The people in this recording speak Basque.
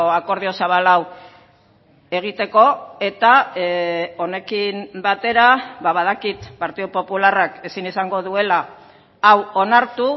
akordio zabal hau egiteko eta honekin batera badakit partidu popularrak ezin izango duela hau onartu